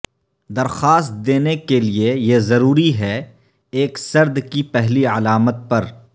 درخواست دینے کے لیے یہ ضروری ہے ایک سرد کی پہلی علامت پر